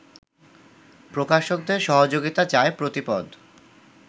প্রকাশকদের সহযোগিতা চায় প্রতিপদ